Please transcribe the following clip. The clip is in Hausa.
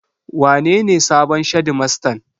Wanene sabon shedimastan?